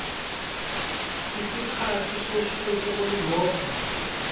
isikhathi sosuku olulodwa